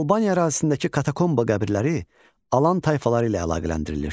Albaniya ərazisindəki katakomba qəbirləri Alan tayfaları ilə əlaqələndirilir.